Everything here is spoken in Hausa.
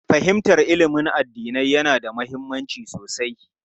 Fahimtar ilimin addinai yana da mahimmanci sosai.